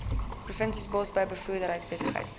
provinsies bosbou boerderybedrywighede